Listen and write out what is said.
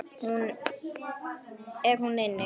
Er hún inni?